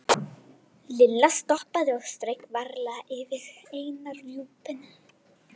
Lilla stoppaði og strauk varlega yfir eina rjúpuna.